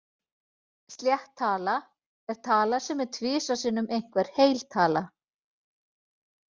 Slétt tala er tala sem er tvisvar sinnum einhver heil tala.